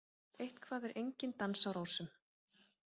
Eitthvað er enginn dans á rósum